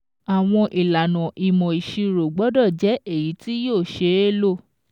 Àwọn ìlànà ìmọ̀ ìṣirò gbọ́dọ̀ jẹ́ èyí tí yóò ṣeé lò.